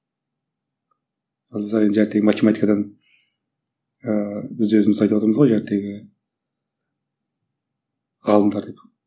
математикадан ыыы біз өзіміз айтып отырмыз ғой ғалымдар деп